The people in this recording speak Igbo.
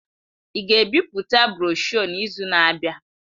Ị ga-ebipụta broshuọ n'izu na-abịa?